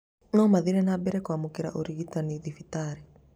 nomarathĩe nambere kwamũkĩra ũrigitani thibitarĩ